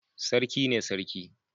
Sarki ne Sarki.